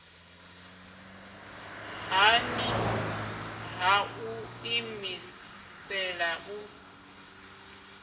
nṱhani ha u ḓiimisela u